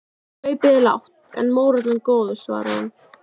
Kaupið er lágt en mórallinn góður, svarar hún.